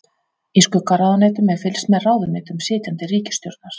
Í skuggaráðuneytum er fylgst með ráðuneytum sitjandi ríkisstjórnar.